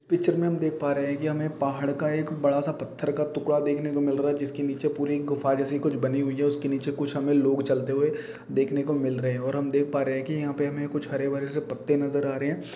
हम देख पा रहे के हमें पहाड का एक बड़ा सा पत्थर का टुकड़ा देखने को मिल रहा है जिसके नीचे पुरो एक गुफा जेसी कुछ बनी हुआ है उसमे नीचे कुछ अंदर लोग चलते हुआ दिखने को मिल रहे है और हम देख पा रहा है की ये ऊपर में भी हरे भरे कुछ पत्ते से नजर आ रहे है।